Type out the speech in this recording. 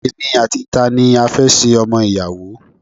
Èmi àti tani a fẹ́ ṣe ọmọ ìyàwó!